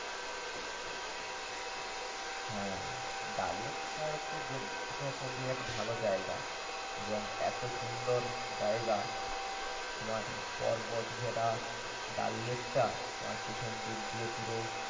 হ্যা। ডাল লেক তোমার হচ্ছে জম্মুর সব থেকে আর কি ভালো জায়গা। এবং এত সুন্দর জায়গা তোমার পর্বত ঘেরা ডাল লেকটা তোমার পিছন দিক দিয়ে পুরো